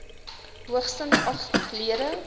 hoogstens agt lede